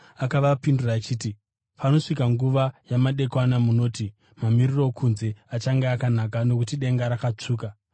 Akavapindura achiti, “Panosvika nguva yamadekwana munoti, ‘Mamiriro okunze achange akanaka nokuti denga rakatsvuka.’